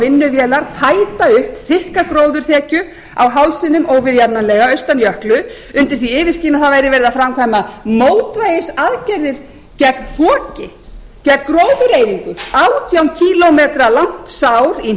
vinnuvélar tæta upp þykka gróðurþekju á hálsinum óviðjafnanlega austan jöklu undan því yfirskini að það væri verið að það væri verið að framkvæma mótvægisaðgerðir gegn foki gegn gróðureyðingu átján kílómetra langt sár í hnausþykkan jarðveg